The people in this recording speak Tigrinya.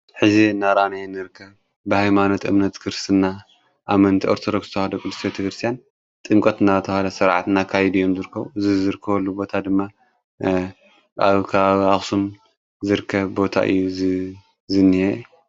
ሕዚ ናራንየን ርከ ብሃይማኖት እምነት ክርትና ኣመንቲ ኦርተዶክዝተውሃዶ ቕዱሴቲተ ክርስቲያን ጥንቈትና ተውሃለ ሠርዓትና ካይድዮም ዝርከ ዝዝርክወሉ ቦታ ድማ ኣብካ ኣኽስም ዝርከ ቦታ እዩ ዝንየ።